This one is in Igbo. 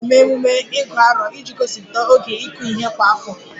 A na-eme ememe Igu Aro iji gosipụta oge ịkụ ihe kwa afọ